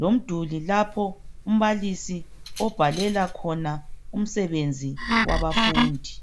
lomduli lapho umbalisi obhalela khona umsebenzi wabafundi.